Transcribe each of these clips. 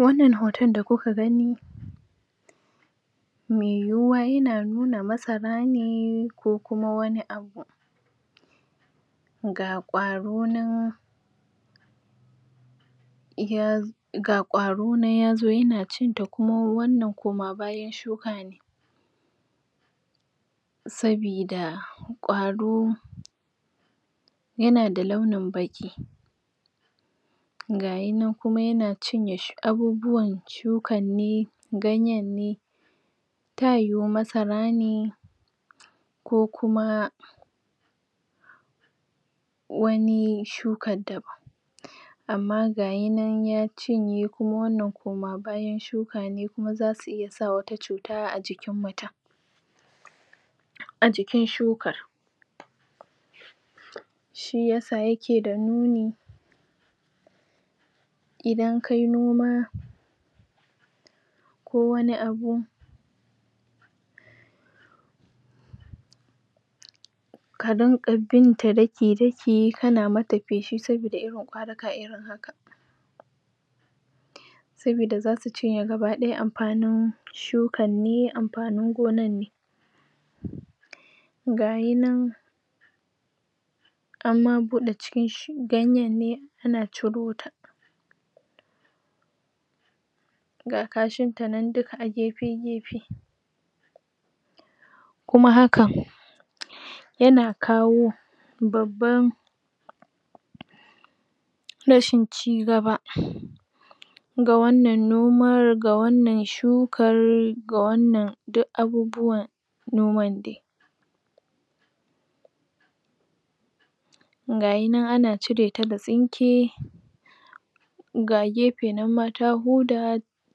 Wannan hoton da kuka gani mai yiwuwa yana nuna masara ne ko kuma wani abu ga ƙwaro nan yaz ga ƙwaro nan yazo yana cinta, kuma wannan koma bayan shuka ne sabida ƙwaro yana da launin baƙi gayinan kuma yana cinye shu, abubuwan shukan ne, ganyen ne ta yiwu masara ne ko kuma wani shukan daban amma gayinan ya cinye, kuma wannan koma bayan shuka ne, kuma zasu iya sa wata cuta a jikin mutum a jikin shukar shiyasa yake da nuni idan kai noma ko wani abu ka rinƙa binta daki-daki, kana mata feshi, sabida irin ƙwaruka irin haka sabida zasu cinye gaba ɗaya amfanin shukan ne, amfanin gonan ne gayinan amma buɗe cikin sh ganyen ne ana ciro ta ga kashinta nan duk a gefe-gefe kuma hakan yana kawo babban rashin cigaba ga wannan nomar, ga wannan shukar, ga wannan duk abubuwan noman dai gayinan ana cire ta da tsinke ga gefe ma nan ta huda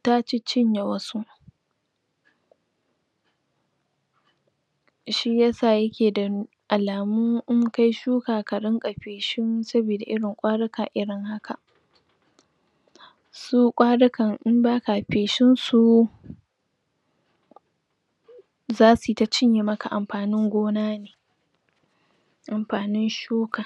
ta ciccinye wasu shiyasa yake da n alamu in kai shuka ka rinƙa feshin sabida irin ƙwaruka irin haka su ƙwarukan in baka feshin su zasuyi ta cinye maka amfanin gona ne amfanin shuka????????